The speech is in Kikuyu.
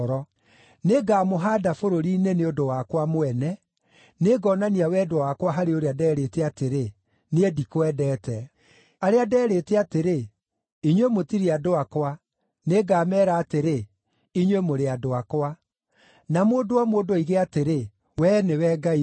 Nĩngamũhaanda bũrũri-inĩ nĩ ũndũ wakwa mwene; nĩngonania wendo wakwa harĩ ũrĩa nderĩte atĩrĩ, ‘Niĩ ndikwendete’. Arĩa nderĩte atĩrĩ, ‘Inyuĩ mũtirĩ andũ akwa’, nĩngameera atĩrĩ, ‘Inyuĩ mũrĩ andũ akwa’; na mũndũ o mũndũ oige atĩrĩ, ‘Wee nĩwe Ngai wakwa.’ ”